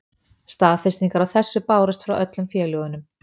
Staðfestingar á þessu bárust frá öllum félögunum.